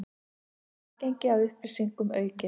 Aðgengi að upplýsingum aukið